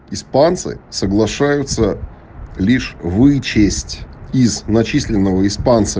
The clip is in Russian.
испанцы соглашаются лишь вычесть из начисленного испанцы